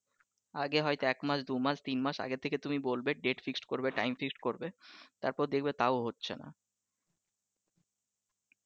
আগে হয়তো এক মাস দুই মাস তিনমাস আগে থেকে তুমি বলবে date fixed করবে time fixed করবে তারপর দেখবে তাও হচ্ছে নাহ ।